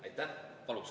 Aitäh!